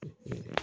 Sanunɛgɛnin